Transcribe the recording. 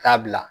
Taa bila